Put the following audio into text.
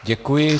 Děkuji.